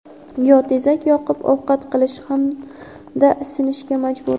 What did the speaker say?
yo tezak yoqib ovqat qilish hamda isinishga majbur.